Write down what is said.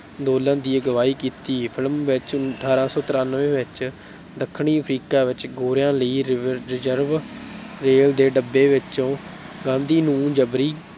ਅੰਦੋਲਨ ਦੀ ਅਗਵਾਈ ਕੀਤੀ film ਵਿੱਚ ਅਠਾਰਾਂ ਸੌ ਤਰਾਨਵੇਂ ਵਿੱਚ ਦੱਖਣੀ ਅਫਰੀਕਾ ਵਿੱਚ ਗੋਰਿਆਂ ਲਈ ਰਿ reserve ਰੇਲ ਦੇ ਡੱਬੇ ਵਿੱਚੋਂ ਗਾਂਧੀ ਨੂੰ ਜਬਰੀ